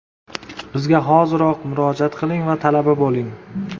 Bizga hoziroq murojaat qiling va talaba bo‘ling!